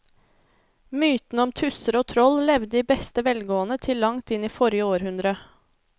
Mytene om tusser og troll levde i beste velgående til langt inn i forrige århundre.